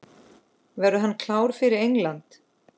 Verður hann klár fyrir England?